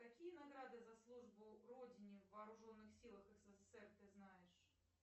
какие награды за службу родине в вооруженных силах ссср ты знаешь